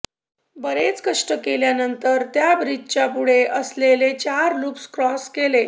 बरेच कष्ट केल्यानंतर त्या ब्रिजच्या पुढे असलेले चार लूप्स क्रॉस केले